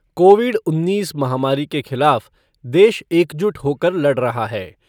Covid उन्नीस महामारी के खिलाफ देश एकजुट होकर लड़ रहा है।